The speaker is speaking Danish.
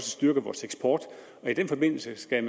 styrket vores eksport i den forbindelse skal